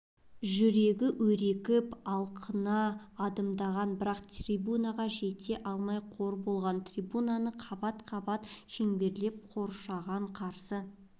жүрегі өрекіп алқына адымдаған бірақ трибунаға жете алмай қор болды трибунаны қабат-қабат шеңберлеп қоршаған қарсы